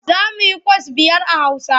Za mu yikwas biyar a Hausa.